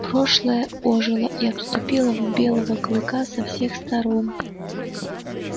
прошлое ожило и обступило белого клыка со всех сторон